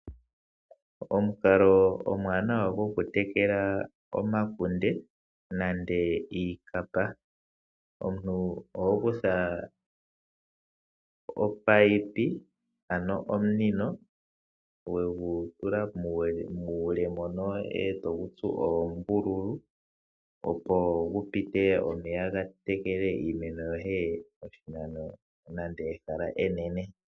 Omukalo omwaanawa gokutekela omakunde nenge iikapa, omuntu oho kutha omunino wegu tula muule etogu tsu oombululu opo gupite omeya gatekele iimeno yoye oshinano nenge ehala enene.